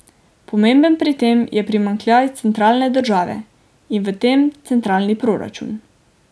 Pomemben pri tem je primanjkljaj centralne države in v tem centralni proračun.